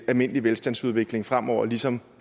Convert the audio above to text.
almindelige velstandsudvikling fremover ligesom